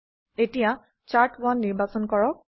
এতিয়া চাৰ্ট1 নিৰ্বাচন কৰক